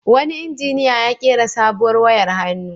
Wani injiniya ya ƙera sabuwar wayar hannu.